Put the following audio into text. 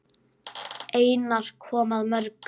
Einar kom að mörgu.